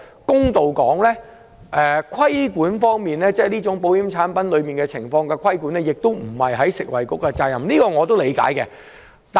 公道點說，規管這種保險產品並不是食物及衞生局的責任，這點我是理解的。